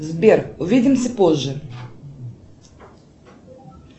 сбер увидимся позже